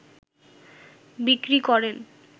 বিক্রি করেন